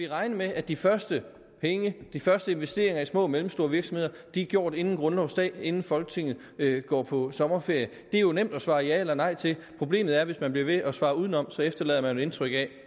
regne med at de første penge de første investeringer i små og mellemstore virksomheder er gjort inden grundlovsdag inden folketinget går på sommerferie det er nemt at svare ja eller nej til problemet er at hvis man bliver ved med at svare udenom efterlader man indtryk af